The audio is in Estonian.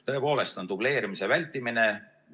Tõepoolest on dubleerimise vältimine.